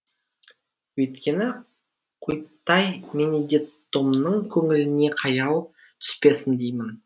өйткені құйттай бенедеттомның көңіліне қаяу түспесін деймін